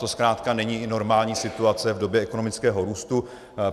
To zkrátka není normální situace v době ekonomického růstu.